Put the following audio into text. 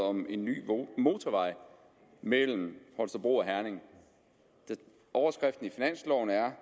om en ny motorvej mellem holstebro og herning overskriften i finansloven er